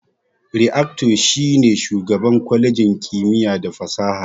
Reactor shi ne shugaban kwalejin kimiyya da fasaha.